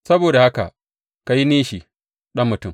Saboda ka yi nishi, ɗan mutum!